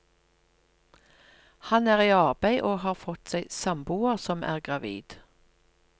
Han er i arbeid, og har fått seg samboer som er gravid.